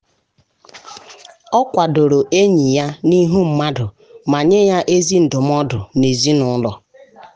ọ kwadoro enyi ya n’ihu mmadụ ma nye ya ezi ndụmọdụ n’ezinụlọ.